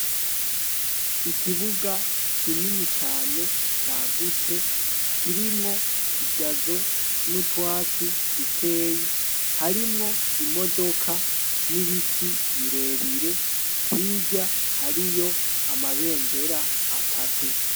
Ikibuga kinini cane, cyagutse kirimwo igazo n'utwatsi dukeyi harimwo imodoka n'ibiti birebire hija hariyo amabendera atatu.